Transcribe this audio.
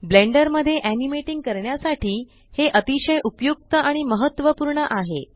blender मध्ये animating करण्यासाठी हे अतिशय उपयुक्त आणि महत्व पूर्ण आहे